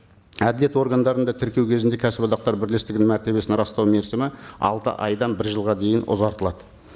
әділет органдарында тіркеу кезінде кәсіподақтар бірлестігінің мәртебесін растау мерзімі алты айдан бір жылға дейін ұзартылады